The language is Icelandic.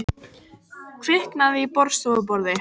Kviknaði í borðstofuborði